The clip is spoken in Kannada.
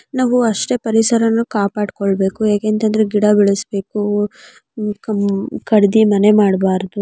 ನಾವು ಅಷ್ಟೇ ಪರಿಸರನೂ ಕಾಪಾಡ್ಕೊಳ್ಬೇಕು ಯಾಕೆಂತಂದ್ರೆ ಗಿಡ ಬೆಳಸ್ಬೇಕು ಉಹ್ ಕಮ್ ಕಡ್ದಿ ಮನೆ ಮಾಡ್ಬಾರ್ದು.